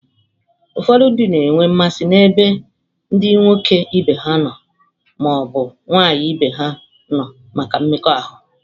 Ụfọdụ ndị na-enwe mmasị n'ebe ndị nwoke ibe ha ma ọ bụ nwaanyị ibe ha nọ maka mmekọahụ.